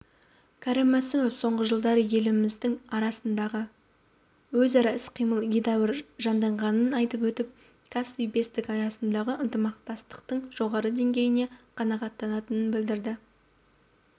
кәрім мәсімов соңғы жылдары елдеріміздің арасындағы өзара іс-қимыл едәуір жанданғанын айтып өтіп каспий бестігі аясындағы ынтымақтастықтың жоғары деңгейіне қанағаттанатынын білдірді